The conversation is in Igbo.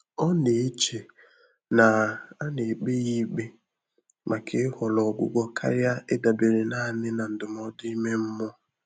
Ọ́ nà-échè nà á nà-ékpé yá íkpé màkà ị́họ́rọ́ ọ́gwụ́gwọ́ kàrị́à ị́dàbéré nāànị́ nà ndụ́mọ́dụ́ ímé mmụ́ọ́.